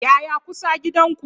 Yaya kusa gidan ku?